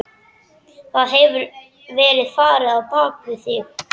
Það hefur verið farið á bak við þig.